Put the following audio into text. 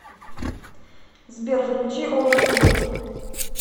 сбер включи овертур